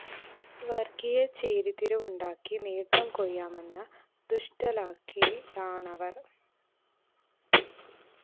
വര്‍ഗീയ ചേരിതിരിവുണ്ടാക്കി നേട്ടംകൊയ്യാമെന്ന ദുഷ്ടലാക്കിലാണവര്‍